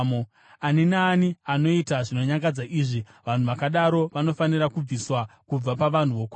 “ ‘Ani naani anoita zvinonyangadza izvi, vanhu vakadaro vanofanira kubviswa kubva pavanhu vokwavo.